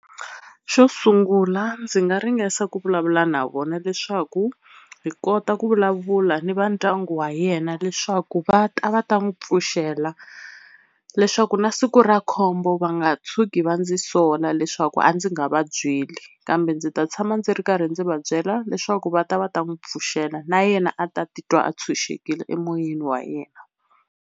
Xo sungula ndzi nga ringesa ku vulavula na vona leswaku hi kota ku vulavula ni va ndyangu wa yena leswaku va ta va ta n'wi pfuxela leswaku na siku ra khombo va nga tshuki va ndzi sola leswaku a ndzi nga va byeli, kambe ndzi ta tshama ndzi ri karhi ndzi va byela leswaku va ta va ta n'wi pfuxela na yena a ta titwa a tshunxekile emoyeni wa yena.